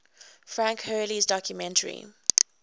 frank hurley's documentary